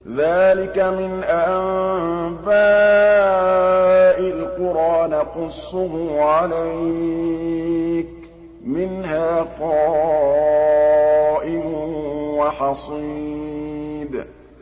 ذَٰلِكَ مِنْ أَنبَاءِ الْقُرَىٰ نَقُصُّهُ عَلَيْكَ ۖ مِنْهَا قَائِمٌ وَحَصِيدٌ